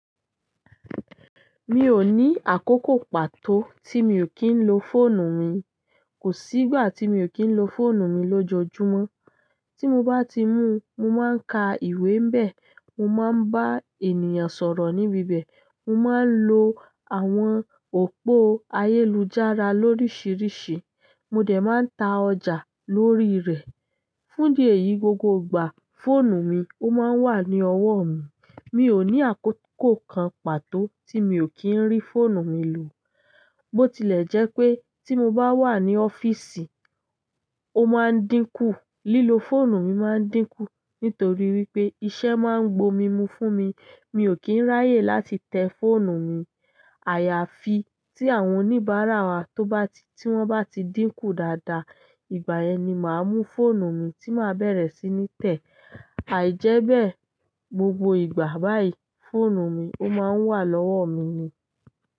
Mi ò ní àkókò pàtó tí mi ò kí ń lo fóònù mi. Ko si ìgbà ti mio kin lo fóònù mi lojoojumo ti mo ba ti mu, mo maa n ka ìwé níbẹ̀, mo maa n ba àwọn ènìyàn sọ̀rọ̀ nibibe mo maa n lo àwọn opo ayélujára lorisirisi, mo de maa n ta ọjà loriire. Fún di èyí, gbogbo ìgbà, fóònù mi ó máa ń wà ní ọwọ́ mi. Mi ò ní àkókò kan pàtó tí mi ò kí ń rí fóònù mi lò. Bó tilẹ̀ jẹ́ pé tí mo bá wà ní ọ́fíìsì, ó máa ń dínkù, lílo fóònù mi máa ń dínkù nítorí wípé iṣẹ́ máa ń gbo mí mú fún mi, mi ò kí ń ráyè láti tẹ fóònù mi. Àyàfi tí àwọn oníbàárà wa tó bá ti-- tí wọ́n bá ti dínkù dáadáa, ìgbà yẹn ni màá mú fóònù mi tí màá bẹ̀rẹ̀ sí ní tẹ̀. Àìjẹ́bẹ̀, gbogbo ìgbà báyìí, fóònù mi ó máa ń wà lọ́wọ́ mi ni.